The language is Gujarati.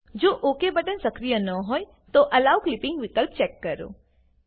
જો ઓક બટન સક્રિય ન હોય તો એલો ક્લિપિંગ વિકલ્પ ચેક કરો